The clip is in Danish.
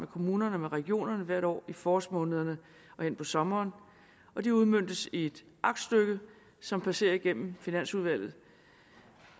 kommunerne og regionerne hvert år i forårsmånederne og hen på sommeren de udmøntes i et aktstykke som passerer igennem finansudvalget